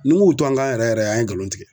Ni ŋ'u to an kan yɛrɛ yɛrɛ an ye nkalon tigɛ.